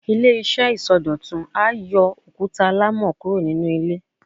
Ile-iṣẹ isọdọtun a yóò okuta alamọ kuro ninu ilè